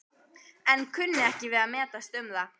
en kunni ekki við að metast um það.